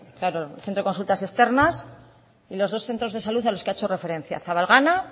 claro el centro de consultas externas y los dos centros de salud a los que ha hecho referencia zabalgana